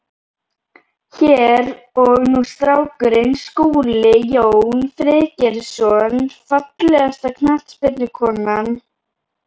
Hér og nú strákurinn Skúli Jón Friðgeirsson Fallegasta knattspyrnukonan?